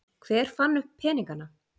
hver fann upp peningana